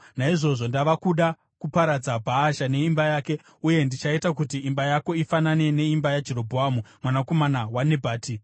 Naizvozvo ndava kuda kuparadza Bhaasha neimba yake, uye ndichaita kuti imba yako ifanane neimba yaJerobhoamu mwanakomana waNebhati.